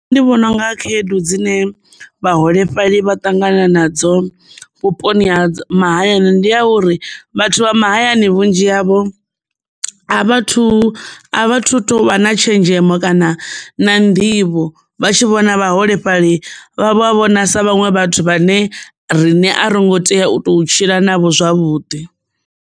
Nṋe ndi vhona unga khaedu dzine vhaholefhali vha ṱangana nadzo vhuponi ha mahayani ndi a uri vhathu vha mahayani vhunzhi havho a vhathu a vhathu tou vha na tshenzhemo kana na nḓivho vha tshi vhona vhaholefhali vha vho havho na sa vhaṅwe vhathu vhane rine ro ngo tea u to tshila navho zwavhuḓi.